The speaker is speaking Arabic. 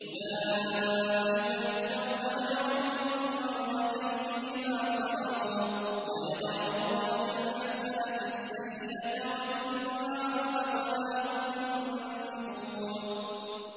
أُولَٰئِكَ يُؤْتَوْنَ أَجْرَهُم مَّرَّتَيْنِ بِمَا صَبَرُوا وَيَدْرَءُونَ بِالْحَسَنَةِ السَّيِّئَةَ وَمِمَّا رَزَقْنَاهُمْ يُنفِقُونَ